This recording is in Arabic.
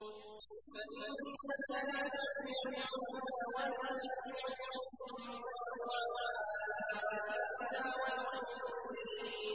فَإِنَّكَ لَا تُسْمِعُ الْمَوْتَىٰ وَلَا تُسْمِعُ الصُّمَّ الدُّعَاءَ إِذَا وَلَّوْا مُدْبِرِينَ